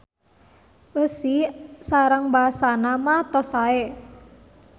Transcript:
Eusi sareng basana mah tos sae.